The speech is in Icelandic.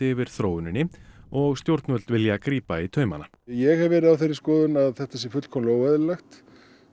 yfir þróuninni og stjórnvöld vilja grípa í taumana ég hef verið á þeirri skoðun að þetta sé fullkomlega óeðlilegt